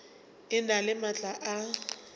e na le maatla a